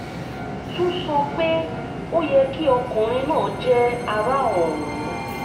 tún sọ pé ó yẹ kí ọkùnrin náà jẹ́ ara òun